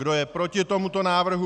Kdo je proti tomuto návrhu?